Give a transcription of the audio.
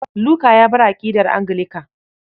Luka ya bar aƙidar Anglican.